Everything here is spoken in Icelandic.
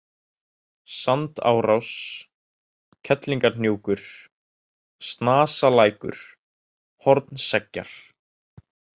Sandárás, Kerlingarhnjúkur, Snasalækur, Hornseggjar